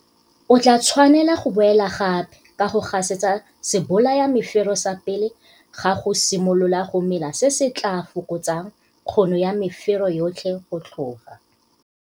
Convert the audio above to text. O tlaa tshwanela go boela gape ka go gasetsa sebolayamefero sa pele ga go simolola go mela se se tlaa fokotsang kgono ya mefero yotlhe go tlhoga.